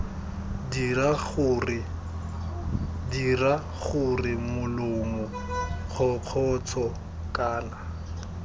dira gore molomo kgokgotsho kana